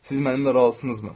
Siz mənimlə razısınızmı?